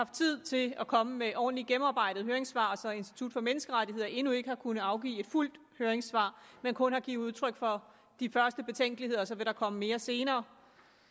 tid til at komme med ordentligt gennemarbejdede høringssvar og så institut for menneskerettigheder endnu ikke har kunnet afgive et fuldt høringssvar men kun har givet udtryk for de første betænkeligheder og så vil der komme mere til senere